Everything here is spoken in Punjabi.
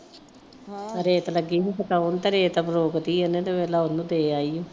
ਰੇਤ ਲੱਗੀ ਨੂੰ ਪਤਾ ਉਹਨੂੰ ਦੇ ਆਈ ਉਹ